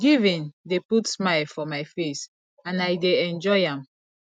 giving dey put smile for my face and i dey enjoy am